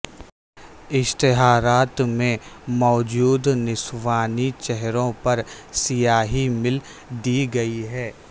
اشتہارات میں موجود نسوانی چہروں پر سیاہی مل دی گئی ہے